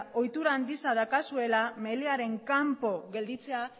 ohitura handia daukazuela melearen kanpo gelditzea